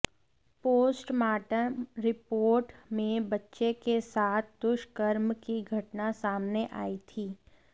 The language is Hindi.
पोस्टमार्टम रिपोर्ट में बच्चे के साथ दुष्कर्म की घटना सामने आई थी